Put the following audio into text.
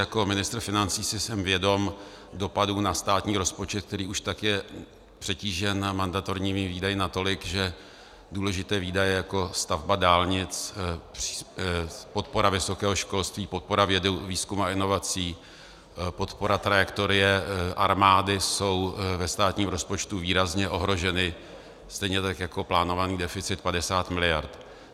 Jako ministr financí si jsem vědom dopadu na státní rozpočet, který už tak je přetížen mandatorními výdaji natolik, že důležité výdaje jako stavba dálnic, podpora vysokého školství, podpora vědy, výzkumu a inovací, podpora trajektorie armády jsou ve státním rozpočtu výrazně ohroženy, stejně tak jako plánovaný deficit 50 miliard.